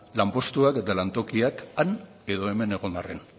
lanpostuak eta lantokiak han edo hemen egon arren